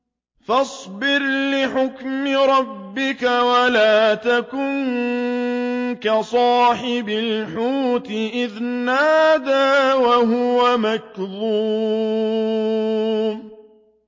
فَاصْبِرْ لِحُكْمِ رَبِّكَ وَلَا تَكُن كَصَاحِبِ الْحُوتِ إِذْ نَادَىٰ وَهُوَ مَكْظُومٌ